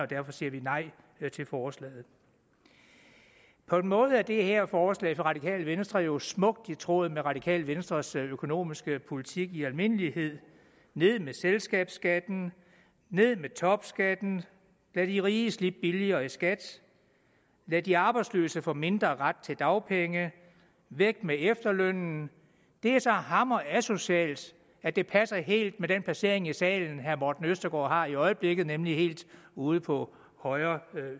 derfor siger vi nej til forslaget på en måde er det her forslag fra det radikale venstre jo smukt i tråd med det radikale venstres økonomiske politik i almindelighed ned med selskabsskatten ned med topskatten lad de rige slippe billigere i skat lad de arbejdsløse få mindre ret til dagpenge væk med efterlønnen det er så hamrende asocialt at det passer helt med den placering i salen herre morten østergaard har i øjeblikket nemlig helt ude på højre